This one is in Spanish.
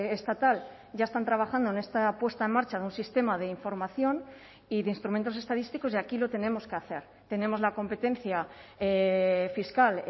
estatal ya están trabajando en esta puesta en marcha de un sistema de información y de instrumentos estadísticos y aquí lo tenemos que hacer tenemos la competencia fiscal